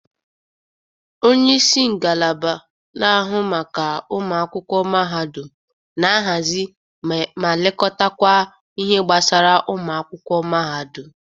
Onyeisi ngalaba na-ahụ maka ụmụakwụkwọ mahadụm na-ahazi ma lekọtakwa ihe gbasara ụmụakwụkwọ mahadụm.